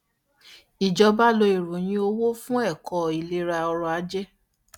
ìjọba lo ìròyìn owó fún ẹ̀kọ́ ìlera ọrọ̀-ajé.